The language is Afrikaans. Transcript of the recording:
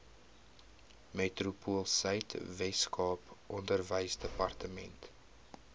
metropoolsuid weskaap onderwysdepartement